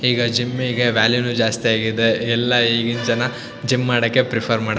ಹೀಗೆ ಜಿಮ್ಮಿಗೆ ವ್ಯಾಲ್ಯೂನು ಜಾಸ್ತಿ ಆಗಿದೆ ಎಲ್ಲಾ ಈಗಿನ್ ಜನ ಜಿಮ್ ಮಾಡಕ್ಕೆ ಪ್ರಿಫರ್ ಮಾಡತ್ತರೆ.